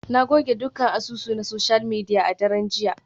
Na goge dukkan asusu na social media a daren jiya.